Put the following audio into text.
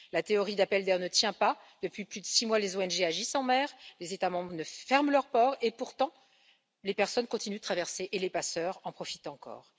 La théorie de l'appel d'air ne tient pas depuis plus de six mois, les ONG agissent en mer, les États membres ferment leurs ports, et pourtant les personnes continuent à traverser et les passeurs en profitent encore.